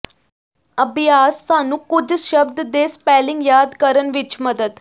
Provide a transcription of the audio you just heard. ਅਭਿਆਸ ਸਾਨੂੰ ਕੁਝ ਸ਼ਬਦ ਦੇ ਸਪੈਲਿੰਗ ਯਾਦ ਕਰਨ ਵਿੱਚ ਮਦਦ